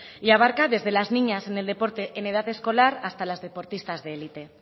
y abarca desde las niñas en el deporte en edad escolar hasta las deportistas de élite